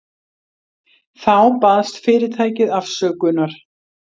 Þá baðst fyrirtækið afsökunar